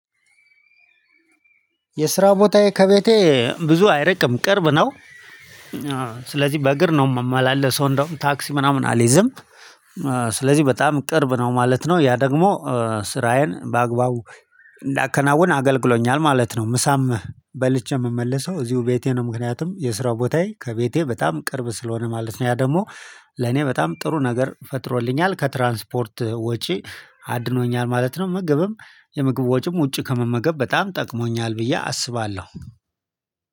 የስራ ቦታዬ ከቤቴ ብዙ አይርቅም ቅርብ ነው። ስለዚህ በእግር ነው የምመላለሰው እንደውም ታክሲ ምናምን አልይዝም። ስለዚህ በጣም ቅርብ ነው ማለት ነው ያ ደግሞ ስራዬን በአግባቡ እንዳከናውን አገልግሎኛል ማለት ነው። ምሳም በልቼ የምመልሰው እዚሁ ቤቴ ነው። ምክንያቱም የስራው ቦታዬ ከቤቴ በጣም ቅርብ ስለሆነ ማለት ነው። ያ ደግሞ ለኔ በጣም ጥሩ ነገር ፈጥሮልኛል ከትራንስፖርት ወጪ አድኖኛል ማለት ነው። ምግብም የምግብ ወጪም ውጪ ከመመገብ በጣም ጠቅሞኛል ብዬ አስባለሁ።